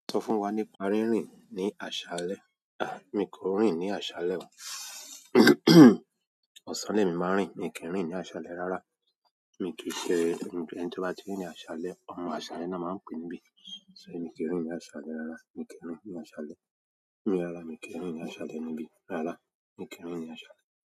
Sọ fún wa nípa rínrìn ní aṣálẹ́. À, mi kò rìn ní aṣálẹ́. Ọ̀sán ni èmi máa ń rìn. Èmi kì í rìn ní aṣálẹ́ rárá. Èmi kìí kéré, ẹni tí wọ́n bá ti rìn ní aṣálẹ́, ọmọ aṣálẹ́ ni wọ́n máa pè níbí. So èmi kì í rìn ní aṣálẹ́ rárá. Èmi kì í rìn ní aṣálẹ́ mìíràn rárá. Èmi kì í rìn ní aṣálẹ́ níbí rárá. Èmi kì í rìn ní aṣálẹ́.